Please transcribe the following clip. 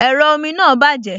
Ẹ̀rọ omi náà bàjẹ́